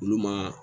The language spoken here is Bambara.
Olu ma